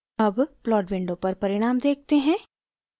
अब plot window पर परिणाम देखते हैं